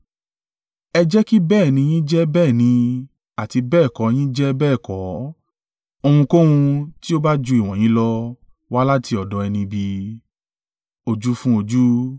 Ẹ jẹ́ kí bẹ́ẹ̀ ni yín jẹ́ bẹ́ẹ̀ ni àti bẹ́ẹ̀ kọ́ yín jẹ́ bẹ́ẹ̀ kọ́, ohunkóhun tí ó ba ju ìwọ̀nyí lọ, wá láti ọ̀dọ̀ ẹni ibi.